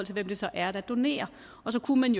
det så er der donerer så kunne man